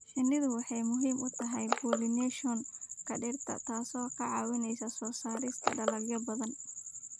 Shinnidu waxay muhiim u tahay pollination-ka dhirta, taasoo ka caawisa soo saarista dalagyo badan.